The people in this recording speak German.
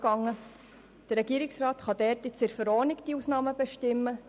Der Regierungsrat kann nun die Ausnahmen zu diesem Artikel in der Verordnung bestimmen.